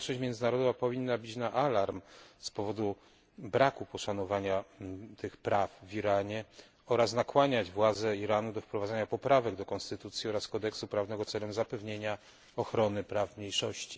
Społeczność międzynarodowa powinna bić na alarm z powodu braku poszanowania tych praw w Iranie oraz nakłaniać władze Iranu do wprowadzenia poprawek do konstytucji oraz kodeksu prawnego, aby zapewnić ochronę praw mniejszości.